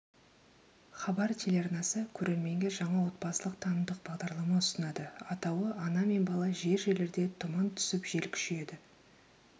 хабар телеарнасы көрерменге жаңа отбасылық-танымдық бағдарлама ұсынады атауы ана мен бала жер-жерлерде тұман түсіп жел күшейеді